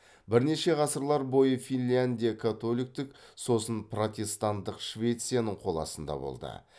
бірнеше ғасырлар бойы финляндия католиктік сосын протестантық швецияның қол астында болды